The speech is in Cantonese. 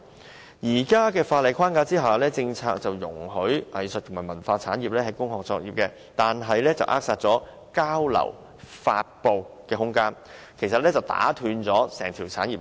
在現時的法例框架下，政策容許藝術及文化產業在工廈作業，卻扼殺了交流、發布的空間，打斷了整條產業鏈。